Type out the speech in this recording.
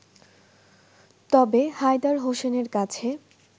তবে হায়দার হোসেনের কাছে